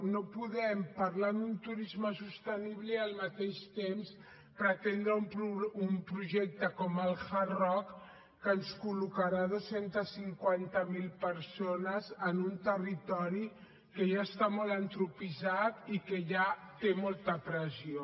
no podem parlar d’un turisme sostenible i al mateix temps pretendre un projecte com el hard rock que ens col·locarà dos cents i cinquanta miler persones en un territori que ja està molt antropitzat i que ja té molta pressió